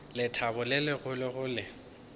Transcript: lethabo le legolo go le